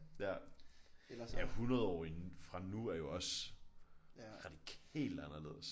Ja 100 år inden fra nu er jo også radikalt anderledes